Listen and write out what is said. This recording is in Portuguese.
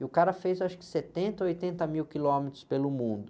E o cara fez acho que setenta ou oitenta mil quilômetros pelo mundo.